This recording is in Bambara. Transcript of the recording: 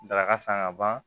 Daraka san ka ban